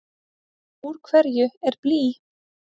Úr hverju er blý?